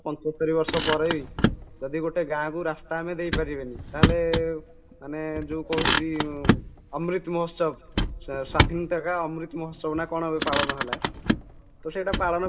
ପଞ୍ଚସ୍ତରୀ ବର୍ଷ ପରେବି ଯଦି ଗୋଟେ ଗାଁକୁ ରାସ୍ତା ଆମେ ଦେଇପାରିବନି ତାହାଲେ ମାନେ ଯୋଉ କହନ୍ତି amrit ମହୋତ୍ସବ ସ୍ୱାଧୀନତା କା ମହୋତ୍ସବନା କ'ଣ ଏବେ ପାଳନ ହେଲା ତ ସେଟା ପାଳନ